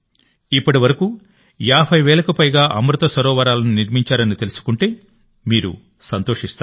ఇప్పటి వరకు 50 వేలకు పైగా అమృత సరోవరాలను నిర్మించారని తెలుసుకుంటే మీరు సంతోషిస్తారు